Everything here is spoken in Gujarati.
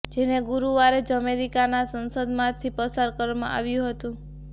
જેને ગુરુવારે જ અમેરિકાની સંસદમાંથી પસાર કરવામાં આવ્યું હતું